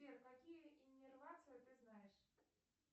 сбер какие иннервации ты знаешь